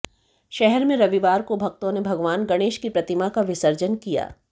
शहर में रविवार को भक्तों ने भगवान गणेश की प्रतिमा का विसर्जन किया